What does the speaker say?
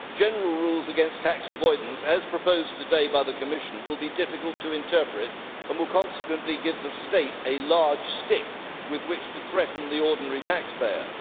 General rules against tax avoidance, as proposed today by the Commission, will be difficult to interpret and will consequently give the state a large stick with which to threaten the ordinary taxpayer.